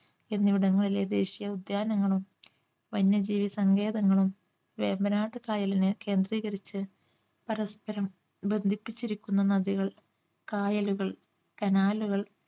എന്നിവിടങ്ങളിലെ ദേശീയ ഉദ്യാനങ്ങളും വന്യജീവി സങ്കേതങ്ങളും വേമ്പനാട്ടു കായലിന് കേന്ദ്രീകരിച്ച് പരസ്പരം ബന്ധിപ്പിച്ചിരിക്കുന്ന നദികൾ കായലുകൾ കനാലുകൾ